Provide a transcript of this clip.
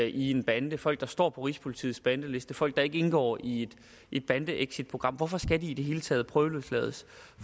i en bande folk der står på rigspolitiets bandeliste folk der ikke indgår i et bandeexitprogram hvorfor skal de i det hele taget prøveløslades